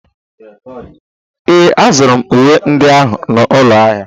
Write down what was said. Ee, azụrụ m uwe ndị ahụ n'ụlọ ahịa.